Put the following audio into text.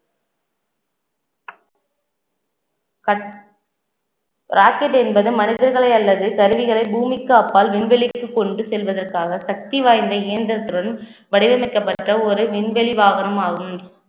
cut~ rocket என்பது, மனிதர்களை அல்லது கருவிகளை பூமிக்கு அப்பால் விண்வெளிக்கு கொண்டு செல்வதற்காக சக்தி வாய்ந்த இயந்திரத்துடன் வடிவமைக்கப்பட்ட ஒரு விண்வெளி வாகனம் ஆகும்